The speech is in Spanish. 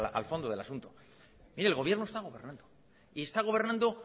al fondo del asunto oye el gobierno está gobernando y está gobernando